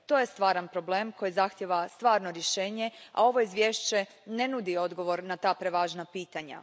To je stvaran problem koji zahtijeva stvarno rješenje, a ovo izvješće ne nudi odgovor na ta prevažna pitanja.